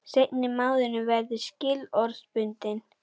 Seinni mánuðurinn verði skilorðsbundinn